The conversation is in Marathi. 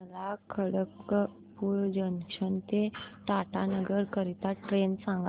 मला खडगपुर जंक्शन ते टाटानगर करीता ट्रेन सांगा